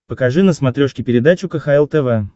покажи на смотрешке передачу кхл тв